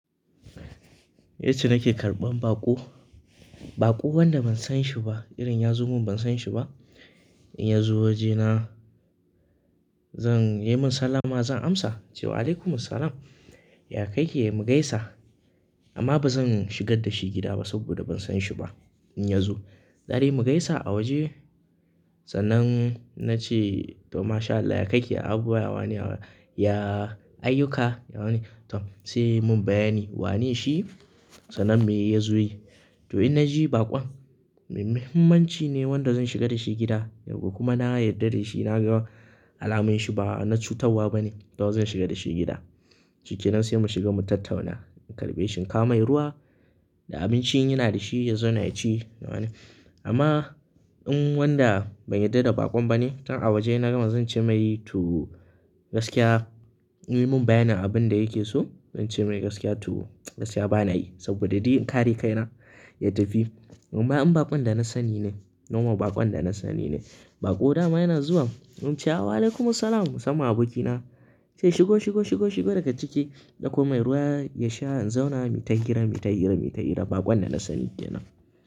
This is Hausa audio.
Yace nake karɓan baƙo, baƙo wanda ban san shi ba. Idan ya zo min ban san shi ba, in ya zo wajena, zan yi min sallama zan amsa cewa, "alaikumussalam", ya ka yake? Mu gaisa amma ba zan shigar da shi gida ba saboda ban san shi ba. In ya zo, zadai mu gaisa a waje sannan na ce to mashAllah, ya ka ke? Ya abubuwa? Ya wane? Ya ayyuka? Ya wane? To sai ya mun bayani wane shi sannan me ya zo yi. To in na ji baƙon muhimanci ne wanda zan shiga da shi gida kuma na yarda da shi na ga alamun shi ba na cutarwa ba ne, to zan shiga da shi gida. Shike nan sai mu shiga mu tattauna, in karɓe shin, in kawo mai ruwa da abinci in ina da shi ya zauna ya ci nawane. Amma in wanda ban yarda da baƙon ba ne, tun a waje na gama zan ce mai tu gaskiya, muyi mun bayanin abin da yake so. Zan ce mai gaskiya tu gaskiya bana yi saboda duk in kare kaina ya tafi. Amma in baƙon da na sani ne, noman baƙon da na sani ne, baƙo dama yana zuwa, mun ce wa "alaikumussalam", sama abokina sai shigo, shigo, shigo, shigo daga ciki ɗauko mai ruwa ya sha in zauna. Mita hira, mita hira, mita hira baƙon da na sani yana.